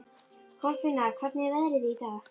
Kolfinna, hvernig er veðrið í dag?